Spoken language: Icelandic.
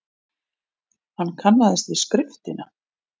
Hann kannaðist við skriftina.